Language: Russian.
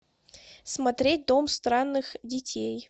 смотреть дом странных детей